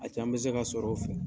A can bɛ se ka sɔrɔ o fɛ.